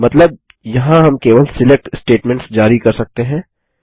मतलब यहाँ हम केवल सिलेक्ट स्टेटमेंट्स जारी कर सकते हैं